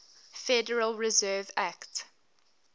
federal reserve act